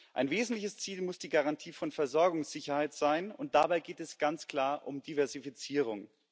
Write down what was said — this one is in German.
Ein wesentliches Ziel muss die Garantie von Versorgungssicherheit sein, und dabei geht es ganz klar um Diversifizierung.